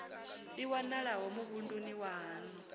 i wanalaho muvhunduni wa haṋu